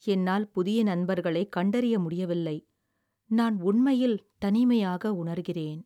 என்னால் புதிய நண்பர்களை கண்டறிய முடியவில்லை, நான் உண்மையில் தனிமையாக உணர்கிறேன்.